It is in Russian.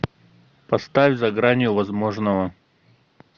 поставь за гранью возможного